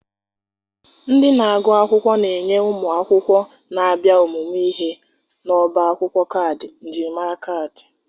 Ndị na-agụ akwụkwọ na-enye ụmụ akwụkwọ na-abịa ọmụmụ ihe n'ọbá akwụkwọ kaadị njirimara kaadị.